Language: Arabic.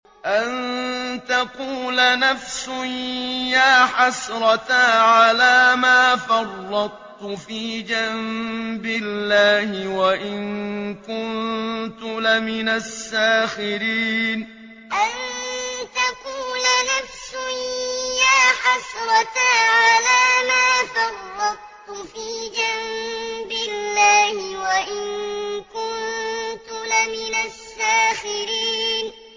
أَن تَقُولَ نَفْسٌ يَا حَسْرَتَا عَلَىٰ مَا فَرَّطتُ فِي جَنبِ اللَّهِ وَإِن كُنتُ لَمِنَ السَّاخِرِينَ أَن تَقُولَ نَفْسٌ يَا حَسْرَتَا عَلَىٰ مَا فَرَّطتُ فِي جَنبِ اللَّهِ وَإِن كُنتُ لَمِنَ السَّاخِرِينَ